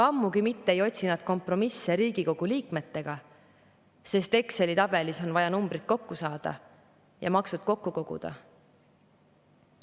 Ammugi mitte ei otsi nad kompromisse Riigikogu liikmetega, sest Exceli tabelis on vaja numbrid kokku saada ja maksud kokku koguda.